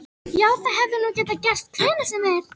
Já, það hefði nú getað gerst hvenær sem er.